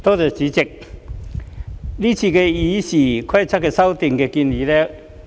代理主席，我整體上支持今次對《議事規則》的修訂建議。